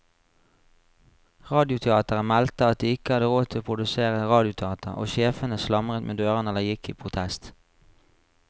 Radioteateret meldte at de ikke hadde råd til å produsere radioteater, og sjefene slamret med dørene eller gikk i protest.